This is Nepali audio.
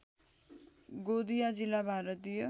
गोंदिया जिल्ला भारतीय